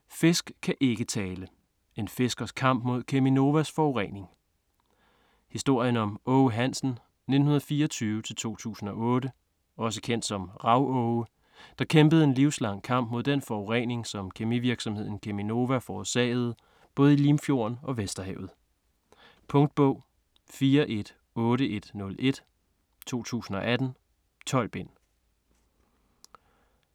Fisk kan ikke tale: en fiskers kamp mod Cheminovas forurening Historien om Aage Hansen (1924-2008) - også kendt som Rav-Aage, der kæmpede en livslang kamp mod den forurening, som kemivirksomheden Cheminova forårsagede både i Limfjorden og Vesterhavet. Punktbog 418101 2018. 12 bind.